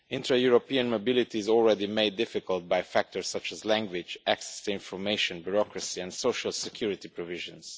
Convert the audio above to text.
Intra European mobility is already made difficult by factors such as language, access to information, bureaucracy and social security provisions.